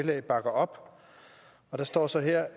la bakker op og der står så her